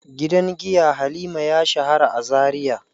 Gidan giya Halima ya shahara a Zaria.